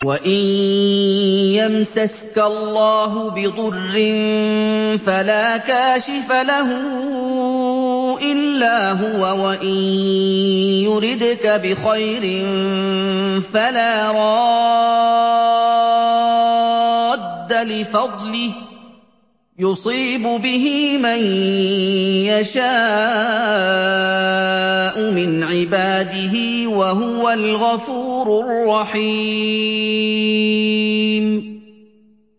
وَإِن يَمْسَسْكَ اللَّهُ بِضُرٍّ فَلَا كَاشِفَ لَهُ إِلَّا هُوَ ۖ وَإِن يُرِدْكَ بِخَيْرٍ فَلَا رَادَّ لِفَضْلِهِ ۚ يُصِيبُ بِهِ مَن يَشَاءُ مِنْ عِبَادِهِ ۚ وَهُوَ الْغَفُورُ الرَّحِيمُ